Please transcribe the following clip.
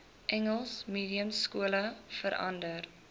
engels mediumskole verander